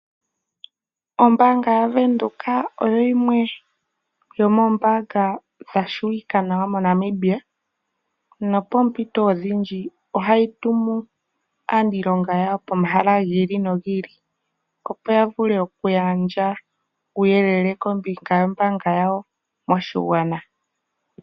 Ombaanga yaVenduka oyo yimwe yomoombanga dhatseyika nawa moNamibia. Pompito odhindji ohayi tumu aaniilonga yawo pomahala giili nogiili, opo yavule okugandja uuyelele kombinga yoombaanga yawo moshigwana.